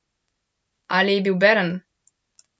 Ali je bil Bern?